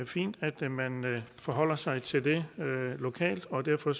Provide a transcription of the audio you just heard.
fint at man forholder sig til det lokalt og derfor